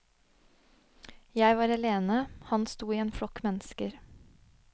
Jeg var alene, han sto i en flokk mennesker.